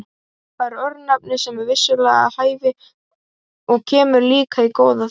Það örnefni er vissulega við hæfi og kemur líka í góðar þarfir.